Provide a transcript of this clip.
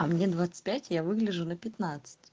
а мне двадцать пять я выгляжу на пятнадцать